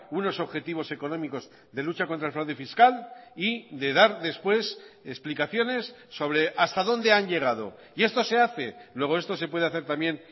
unos objetivos económicos de lucha contra el fraude fiscal y de dar después explicaciones sobre hasta dónde han llegado y esto se hace luego esto se puede hacer también